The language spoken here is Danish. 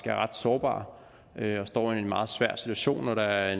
er ret sårbare og står i en meget svær situation når der er